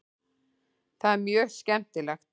Það er mjög skemmtilegt.